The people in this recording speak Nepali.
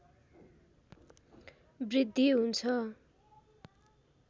वृद्धि हुन्छ